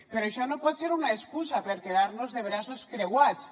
però això no pot ser una excusa per quedar nos de braços creuats